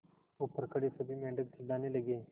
ऊपर खड़े सभी मेढक चिल्लाने लगे